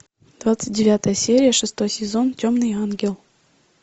двадцать девятая серия шестой сезон темный ангел